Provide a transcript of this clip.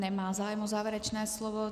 Nemá zájem o závěrečné slovo.